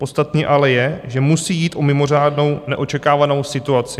Podstatné ale je, že musí jít o mimořádnou, neočekávanou situaci."